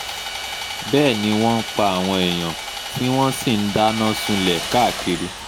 bẹ́ẹ̀ ni wọ́n ń pa àwọn èèyàn tí wọ́n sì ń dáná sunlẹ̀ káàkiri